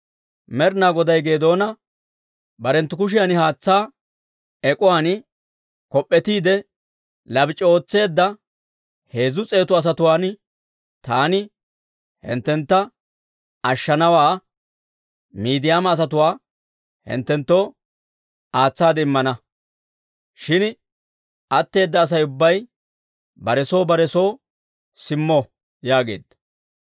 Med'inaa Goday Geedoona, «Barenttu kushiyan haatsaa ek'uwaan kop'p'etiide labac'i ootseedda heezzu s'eetu asatuwaan taani hinttentta ashshana; Miidiyaama asatuwaa hinttenttoo aatsaade immana. Shin atteeda Asay ubbay bare soo bare soo simmo» yaageedda.